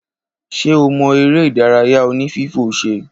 Ṣe ọ mo eré ìdárayá oní fífò ṣẹ